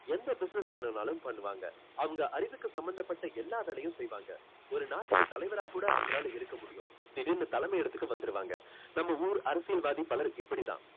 எந்த business வேணும்னாலும் பண்ணுவாங்க. அவங்க அறிவுக்கு சம்பந்தப்பட்ட எல்லா வேலையும் செய்வாங்க. ஒரு நாட்டுக்கு தலைவரா கூட அவங்களால இருக்க முடியும். திடீர்னு தலைமை இடத்துக்கு வந்துருவாங்க. நம்ம ஊரு அரசியல்வாதி பலர் இப்படித்தான்.